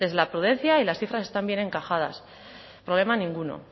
la prudencia y las cifras están bien encajadas problema ninguno